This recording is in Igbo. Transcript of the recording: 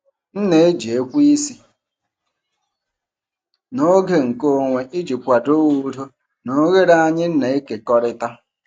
M na-eji ekweisi n'oge nkeonwe iji kwado udo na oghere anyị na-ekekọrịta.